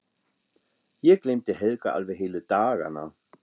Ég gleymdi Helga alveg heilu dagana.